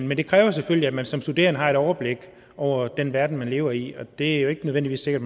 men det kræver selvfølgelig at man som studerende har et overblik over den verden man lever i og det er jo ikke nødvendigvis sikkert